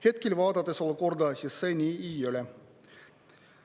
Hetkel vaadates olukorda, see nii ei ole.